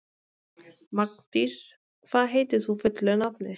Magndís, hvað heitir þú fullu nafni?